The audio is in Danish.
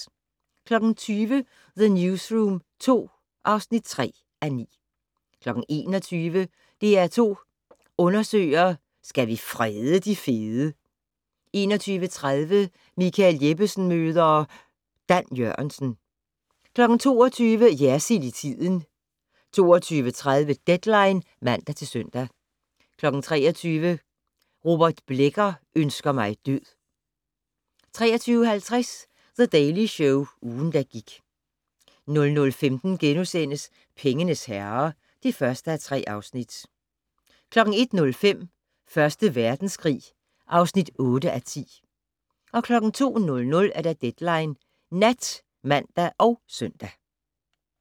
20:00: The Newsroom II (3:9) 21:00: DR2 Undersøger: Skal vi frede de fede? 21:30: Michael Jeppesen møder ... Dan Jørgensen 22:00: Jersild i tiden 22:30: Deadline (man-søn) 23:00: Robert Blecker ønsker mig død 23:50: The Daily Show - ugen, der gik 00:15: Pengenes herrer (1:3)* 01:05: Første Verdenskrig (8:10) 02:00: Deadline Nat (man og søn)